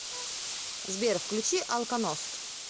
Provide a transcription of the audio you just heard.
сбер включи алконост